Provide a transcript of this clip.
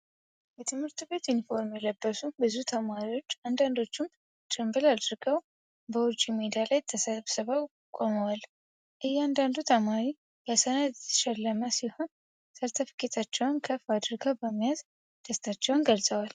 በትምህርት ቤት ዩኒፎርም የለበሱ ብዙ ተማሪዎች፣ አንዳንዶቹም ጭንብል አድርገው፣ በውጪ ሜዳ ላይ ተሰብስበው ቆመዋል። እያንዳንዱ ተማሪ በሰነድ የተሸለመ ሲሆን፣ ሰርተፊኬቶቻቸውን ከፍ አድርገው በመያዝ ደስታቸውን ገልጸዋል።